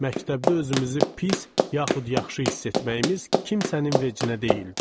Məktəbdə özümüzü pis, yaxud yaxşı hiss etməyimiz kimsənin vecinə deyildi.